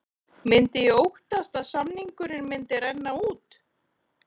Myndi ég óttast að samningurinn myndi renna út?